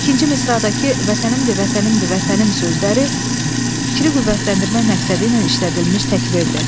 İkinci misradakı Vətənimdir, Vətənimdir, Vətənim sözləri fikri qüvvətləndirmək məqsədi ilə işlədilmiş təkbirdir.